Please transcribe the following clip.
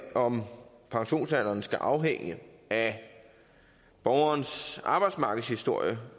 om pensionsalderen skal afhænge af borgerens arbejdsmarkedshistorie